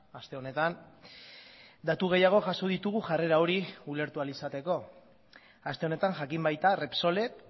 aste honetan datu gehiago jaso ditugu jarrera hori ulertu ahal izateko aste honetan jakin baita repsolek